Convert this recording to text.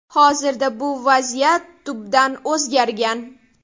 Hozirda bu vaziyat tubdan o‘zgargan.